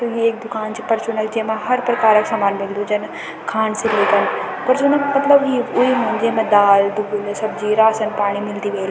त ये एक दूकान च परचून क जेमा हर प्रकार क सामान मिलदु जन खान से लेकर परचून क मतलब ये येमा हुन्दी दाल-दूल सब्जी राशन पाणी मिलदी वेळ।